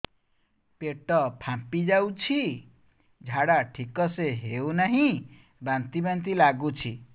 ପେଟ ଫାମ୍ପି ଯାଉଛି ଝାଡା ଠିକ ସେ ହଉନାହିଁ ବାନ୍ତି ବାନ୍ତି ଲଗୁଛି